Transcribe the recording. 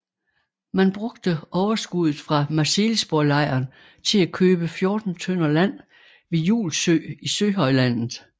Man brugte overskuddet fra Marselisborglejren til at købe 14 tønder land ved Julsø i Søhøjlandet